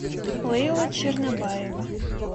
лейла чернобаева